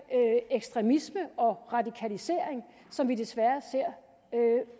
ekstremisme og radikalisering som vi desværre ser